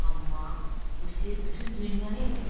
Amma bu sirr bütün dünyaya yayılacaq.